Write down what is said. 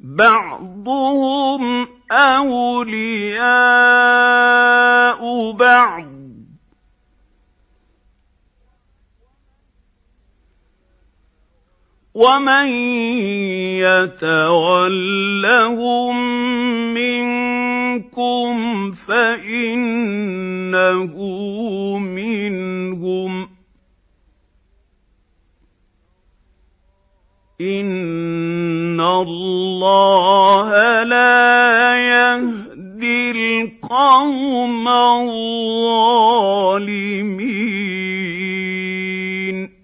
بَعْضُهُمْ أَوْلِيَاءُ بَعْضٍ ۚ وَمَن يَتَوَلَّهُم مِّنكُمْ فَإِنَّهُ مِنْهُمْ ۗ إِنَّ اللَّهَ لَا يَهْدِي الْقَوْمَ الظَّالِمِينَ